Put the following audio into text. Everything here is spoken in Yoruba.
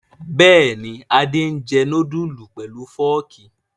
Bẹ́ẹ̀ ni, Adé jẹ núdúlù pẹ̀lú fọ́ọ́kì.